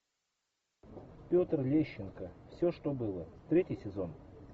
петр лещенко все что было третий сезон